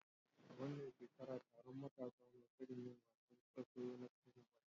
A wannan shekara, taron matasa na shirin yin wasan kwaikwayo na carnival